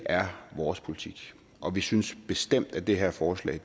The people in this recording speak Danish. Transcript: er vores politik og vi synes bestemt at det her forslag